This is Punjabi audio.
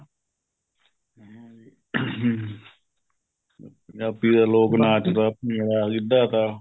ਪੰਜਾਬੀ ਦਾ ਲੋਕ ਨਾਚ ਤਾ ਗਿੱਧਾ ਤਾ